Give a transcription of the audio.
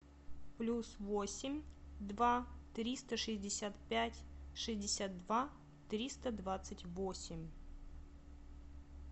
плюс восемь два триста шестьдесят пять шестьдесят два триста двадцать восемь